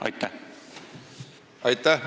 Aitäh!